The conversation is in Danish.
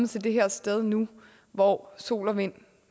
til det her sted nu hvor sol og vind